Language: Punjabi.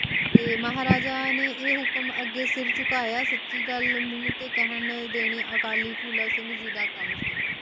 ਤੇ ਮਹਾਰਾਜਾ ਨੇ ਇਹ ਹੁਕਮ ਅਗੇ ਸਿਰ ਚੁਕਾਯਾ ਸਚਿ ਗੱਲ ਮੂੰਹ ਤੇ ਕਹਿਣ ਦੇਣੇ ਅਕਾਲੀ ਫੂਲਾ ਸਿੰਘ ਜੀ ਦਾ ਕੰਮ ਸੀ